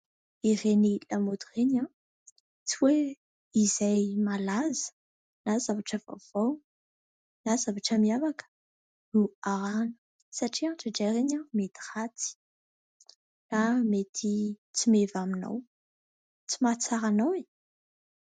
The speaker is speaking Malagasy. Ireny lamaody ireny tsy hoe izay malaza na zavatra vaovao na zavatra miavaka no arahina satria indraindray ireny mety ratsy na mety tsy meva aminao, tsy mahatsara anao e !